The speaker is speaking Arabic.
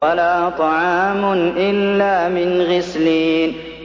وَلَا طَعَامٌ إِلَّا مِنْ غِسْلِينٍ